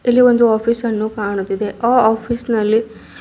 ಇಲ್ಲಿ ಒಂದು ಆಫೀಸನ್ನು ಕಾಣುತ್ತಿದೆ ಆ ಆಫೀಸ್ನಲ್ಲಿ--